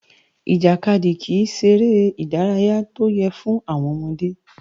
Ìjàkadì kìí ṣeré ìdárayá tó yẹ́ fún àwọn ọmọdé